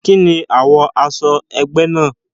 Kíni àwo aṣọ egbe náà?